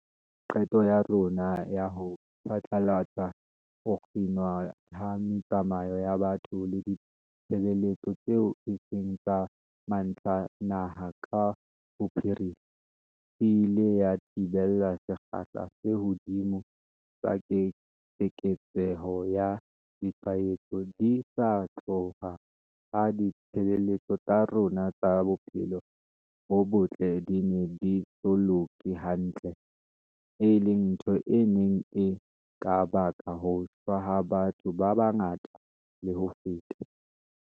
Qeto ya rona ya ho phatlalatsa ho kginwa ha metsamao ya batho le ditshebeletso tseo e seng tsa mantlha naha ka bophara, e ile ya thibela sekgahla se hodimo sa keketseho ya ditshwaetso di sa tloha ha ditshebeletso tsa rona tsa bophelo bo botle di ne di so loke hantle, e leng ntho e neng e ka baka ho shwa ha batho ba bangata le ho feta.